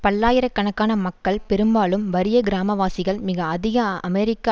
பல்லாயிர கணக்கான மக்கள் பெரும்பாலும் வறிய கிராமவாசிகள் மிக அதிக அமெரிக்க